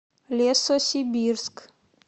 лесосибирск